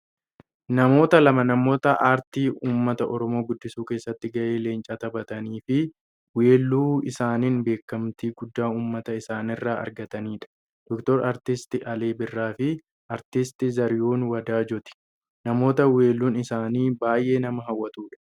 Namoota lama Namoota aartii uumata oromoo guddisuu keessatti gahee leencaa taphataniifi weelluu isaaniin beekkamtii guddaa uumata isaaniirra argatanidha. Dr artisti Alii Birraafi artist Zarihuun Wadaajooti. Namoota welluun isaanii baayyee nama hawwatudha.